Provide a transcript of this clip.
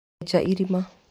Enja irima.